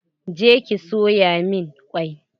Je ki soya min kwai!